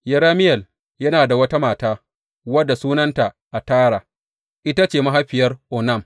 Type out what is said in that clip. Yerameyel yana da wata mata, wadda sunanta Atara; ita ce mahaifiyar Onam.